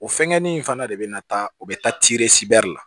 O fɛngɛnin in fana de bɛna taa o bɛ taa la